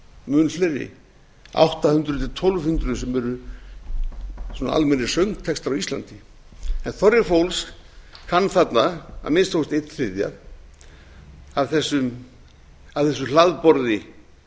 mun fleiri átta hundruð til tólf hundruð sem eru almennir söngtextar á íslandi þorri fólks kann þarna að minnsta kosti einn þriðji af þessu hlaðborði